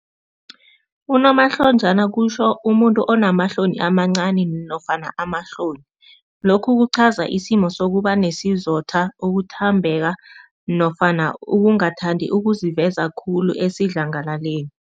Unomahlonjana kutjho umuntu onamahloni amancani nofana amahloni. Lokhu kuchaza isimo sokuba nesizotha ukuthambeka nofana ukungathandi ukuziveza khulu esidlangalaleli.